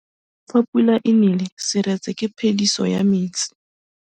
Fa pula e nelê serêtsê ke phêdisô ya metsi.